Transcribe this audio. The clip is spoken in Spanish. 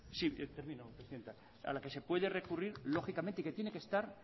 sí termino presidenta a la que se puede recurrir lógicamente y que tiene que estar